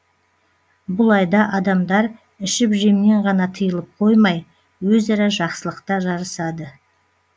бұл айда адамдар ішіп жемнен ғана тиылып қоймай өзара жақсылықта жарысады